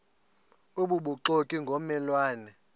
obubuxoki ngomme lwane